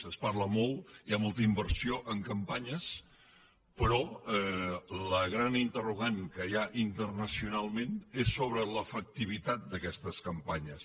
se’n parla molt hi ha molta inversió en campanyes però el gran interrogant que hi ha internacionalment és sobre l’efectivitat d’aquestes campanyes